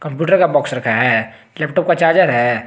Computer का box रखा है लैपटॉप का चार्ज है।